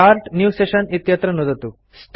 start new session इत्यत्र नुदतु